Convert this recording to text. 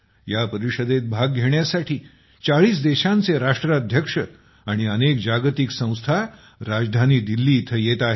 या परिषदेत भाग घेण्यासाठी ४० देशांचे राष्ट्राध्यक्ष अनेक जागतिक संयोजक राजधानी दिल्ली इथं येत आहेत